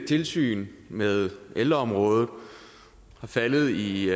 tilsyn med ældreområdet er faldet i